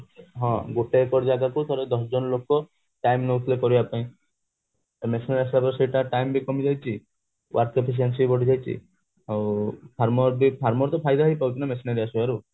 ହଁ ଗୋଟେ ଏକର ଜାଗାକୁ ଧର ଦଶ ଜଣ ଲୋକ time ନୋଉଥିଲେ କରିବା ପାଇଁ ଏବେ machine ଆସିଗଲା ତ ସେଇଟା time ବି କମିଯାଇଛି work efficiency ବି ବଢିଯାଇଛି ଆଉ farmer ବି farmer ତ ଫାଇଦା ହି ପାଉଛି ନା missionary ଆସିବ ରୁ